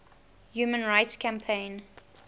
human rights campaign